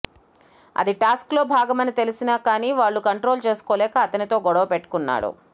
అది టాస్క్ లో భాగమని తెలిసిన కానీ వాళ్ళు కంట్రోల్ చేసుకోలేక అతనితో గొడవ పెట్టుకున్నాడు